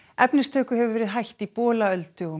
efnistöku hefur verið hætt í Bolaöldu og